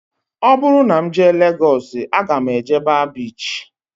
Ọ bụrụ na m jee Legọs aga m eje baa biichi